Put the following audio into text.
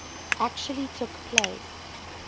actually took place